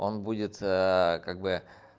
он будет как бы